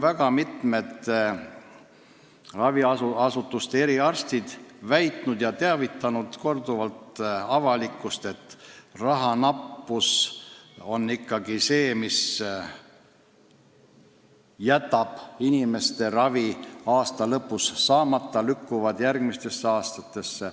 Ka mitmed raviasutuste eriarstid on korduvalt avalikkust teavitanud, et just rahanappuse tõttu jääb inimestel aasta lõpus ravi saamata, väga palju lükkub järgmistesse aastatesse.